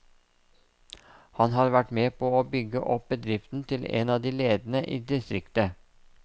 Han har vært med på å bygge opp bedriften til en av de ledende i distriktet.